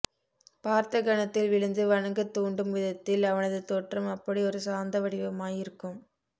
பார்த்த கணத்தில் விழுந்து வணங்கத் தூண்டும் விதத்தில் அவனது தோற்றம் அப்படியொரு சாந்த வடிவமாயிருக்கும்